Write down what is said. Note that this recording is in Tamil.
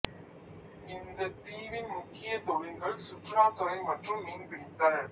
இந்தத் தீவின் முக்கிய தொழில்கள் சுற்றுலாத் துறை மற்றும் மீன்பிடித்தல்